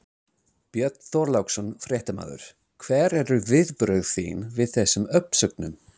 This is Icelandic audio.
Björn Þorláksson, fréttamaður: Hver eru viðbrögð þín við þessum uppsögnum?